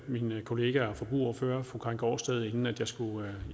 med min kollega og forbrugerordfører fru karin gaardsted inden jeg skulle